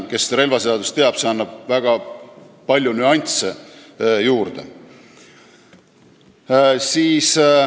Kes relvaseadust teab, see teab, et see annab väga palju nüansse juurde.